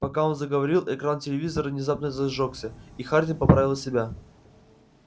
пока он заговорил экран телевизора внезапно зажёгся и хардин поправил себя